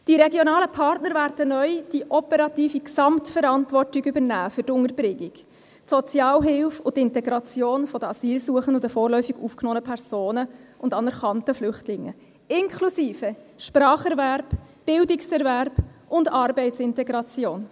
Die regionalen Partner werden neu die operative Gesamtverantwortung für die Unterbringung, die Sozialhilfe und die Integration der Asylsuchenden, der vorläufig aufgenommenen Personen und anerkannten Flüchtlingen übernehmen, inklusive Spracherwerb, Bildungserwerb und Arbeitsintegration.